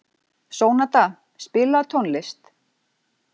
Sónata, spilaðu tónlist.